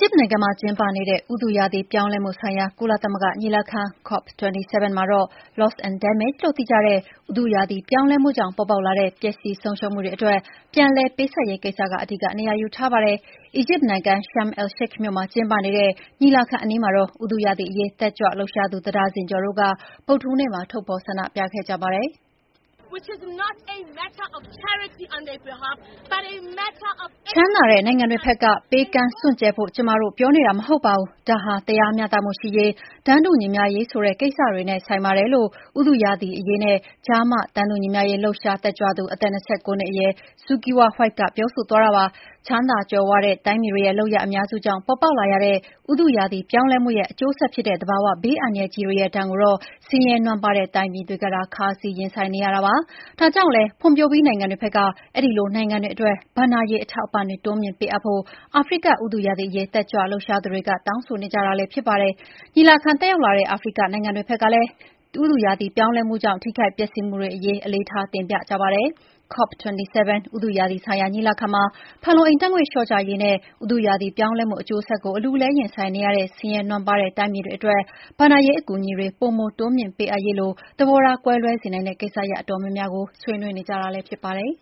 ျစ်နိုင်ငံမှာ ကျင်းပနေတဲ့ ဥတုရာသီ ပြောင်းလဲမှုဆိုင်ရာ ကုလသမဂ္ဂညီလာခံ COP27 မှာတော့ Loss and Damage လို့သိကြတဲ့ ဥတုရာသီ ပြောင်းလဲမှုကြောင့် ပေါ်ပေါက်လာတဲ့ ပျက်စီးဆုံးရှုံးမှုတွေ အတွက် ပြန်လည်ပေးဆပ်ရေး ကိစ္စက အဓိက နေရာယူထားပါတယ်။ အီဂျစ်နိုင်ငံ Sharm el-Sheikh မြို့မှာ ကျင်းပနေတဲ့ ညီလာခံအနီးမှာ ဥတုရာသီအရေး တက်ကြွလှုပ်ရှားသူ တဒါဇင်ကျော်တို့ ဗုဒ္ဓဟူးနေ့မှာ ထုတ်ဖော် ဆန္ဒပြခဲ့ကြတာပါ။ “ ချမ်းသာတဲ့ နိုင်ငံတွေဖက်က ပေးကမ်းစွန့်ကြဲဖို့ ကျမတို့ ပြောနေတာ မဟုတ်ပါဘူး။ ဒါဟာ တရားမျှတမှုရှိရေး၊ တန်းတူညီမျှရေးဆိုတဲ့ ကိစ္စတွေနဲ့ ဆိုင်ပါတယ်" ဥတုရာသီအရေးနဲ့ ကျား မ တန်းတူညီမျှရေး တက်ကြွလှုပ်ရှားသူ အသက် ၂၉ နှစ်အရွယ် Zukiswa White ပြောဆိုသွားတာပါ။ ချမ်းသာကြွယ်ဝတဲ့ တိုင်းပြည်တွေရဲ့ လုပ်ရပ်အများစုကြောင့် ပေါ်ပေါက်လာရတဲ့ ဥတုရာသီ ပြောင်းလဲမှုရဲ့ အကျိုးဆက်ဖြစ်တဲ့ သဘာ၀ ဘေးအန္တရာယ်ကြီးတွေရဲ့ ဒဏ်ကိုတော့ ဆင်းရဲနွမ်းပါးတဲ့ တိုင်းပြည်တွေကသာ ခါးစည်းရင်ဆိုင်နေကြရတာပါ။ ဒါကြောင့်လည်း ဖွံ့ဖြိုးပြီး နိုင်ငံတွေဖက်က အဲဒီလို နိုင်ငံတွေအတွက် ဘဏ္ဍာရေး အထောက်အပံ့တွေ တိုးမြှင့်ပေးအပ်ဖို့ အာဖရိက ဥတုရာသီအရေး တက်ကြွလှုပ်ရှားသူတွေက တောင်းဆိုနေကြတာလည်း ဖြစ်ပါတယ်။ ညီလာခံ တက်ရောက်လာတဲ့ အာဖရိကတိုက် နိုင်ငံတွေဖက်က ကိုယ်စားလှယ်တွေကလည်း ဥတုရာသီ ပြောင်းလဲမှုကြောင့် ထိခိုက်ပျက်စီးမှုတွေ အရေး အလေးထားတင်ပြကြပါတယ်။ COP27 ဥတုရာသီဆိုင်ရာ ညီလာခံမှာ ဖန်လုံအိမ်ဓာတ်ငွေ့ လျှော့ချရေးနဲ့ ဥတုရာသီ ပြောင်းလဲမှု အကျိုးဆက်ကို အလူးအလဲ ရင်ဆိုင်နေရတဲ့ ဆင်းရဲနွမ်းပါးတဲ့ တိုင်းပြည်တွေ အတွက် ဘဏ္ဍာရေး အကူအညီတွေ ပိုမိုတိုးမြှင့်ပေးအပ်ရေးလို သဘောထား ကွဲလွဲစေနိုင်တဲ့ ကိစ္စရပ် အတော်များများကို ဆွေးနွေးနေကြတာလည်း ဖြစ်ပါတယ်